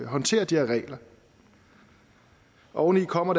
håndtere de her regler oveni kommer